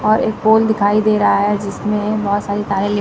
और एक पोल दिखाई दे रहा है जिसमें बहोत सारी तारे ले--